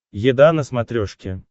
еда на смотрешке